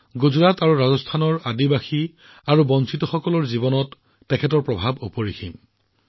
গুজৰাট আৰু ৰাজস্থানৰ আমাৰ জনজাতীয় আৰু বঞ্চিত জনগোষ্ঠীৰ জীৱনত গোবিন্দ গুৰুজীৰ এক অতি বিশেষ তাৎপৰ্য আছে